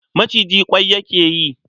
Maciji ƙwai yake yi.